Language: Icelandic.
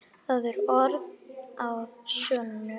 Það eru orð að sönnu.